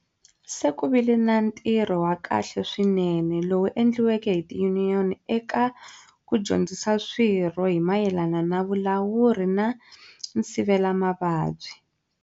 Se ku vile na ntirho wa kahle swinene lowu endliweke hi tiyuniyoni eka ku dyondzisa swirho hi mayelana na vulawuri na nsivelo na nsivelamavabyi.